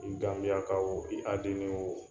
I ganbiyaka o, i kadini o